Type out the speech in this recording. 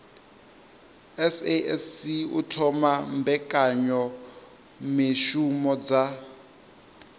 sasc u thoma mbekanyamishumo dza